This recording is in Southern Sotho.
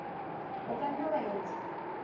o ka nna wa etsa